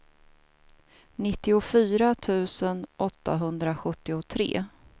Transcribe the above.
nittiofyra tusen åttahundrasjuttiotre